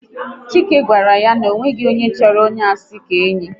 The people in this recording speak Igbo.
Chike gwara ya na ọ nweghị onye chọrọ onye asị ka enyi